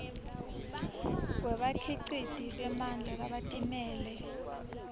kwebakhiciti bemandla labatimele